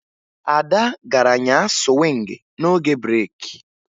Ada gara nyaa sụwịngị n'oge breeki